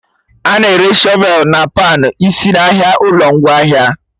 A na-ere Shọvelụ na pan isi n'ahịa ụlọ ngwaahịa